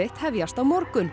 hefjast á morgun